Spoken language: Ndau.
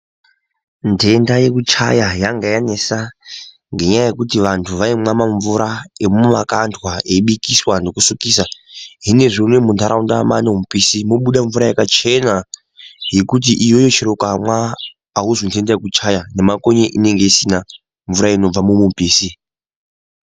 Ntenda yekuchaya yanga yanesa ngenyaya yekuti vantu vaimwa mamvura emumakandwa eibikiswa nekusukisa zvinezvi unowu munharaunda mwaane mupisi mobuda mvura yakachena yekuti iyoyo chero ukamwa auzwi ntenda kuchaya nemakonye inenge isina mvura inobva mumupisi.